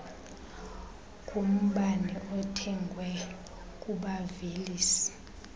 kumbane othengwe kubavelisi